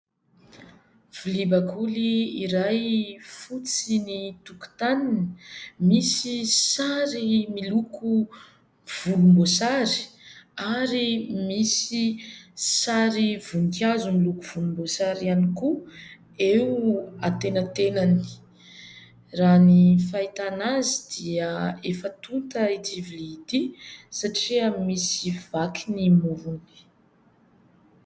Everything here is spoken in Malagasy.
Vilia bakoly iray fotsy ny tokotaniny. Misy sary miloko volomboasary ary misy sary voninkazo miloko volomboasary ihany koa eo antenantenany. Raha ny fahitana azy dia efa tonta ity vilia ity satria misy vaky ny morony.